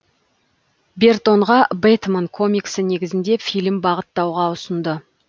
бертонға бэтмен комиксі негізінде фильм бағыттауға ұсынды